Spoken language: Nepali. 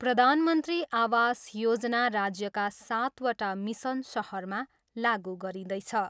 प्रधानमन्त्री आवास योजना राज्यका सातवटा मिसन सहरमा लागु गरिँदैछ।